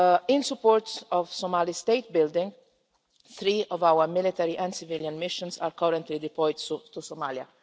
In support of Somali state building, three of our military and civilian missions are currently deployed to Somalia.